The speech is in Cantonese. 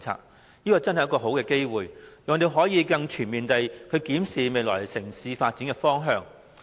這真的是一個好機會，讓我們可以更全面地檢視未來城市發展的方向。